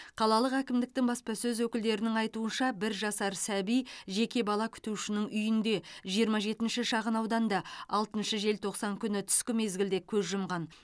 қалалық әкімдіктің баспасөз өкілдерінің айтуынша бір жасар сәби жеке бала күтушінің үйінде жиырма жетінші шағынауданда алтыншы желтоқсан күні түскі мезгілде көз жұмған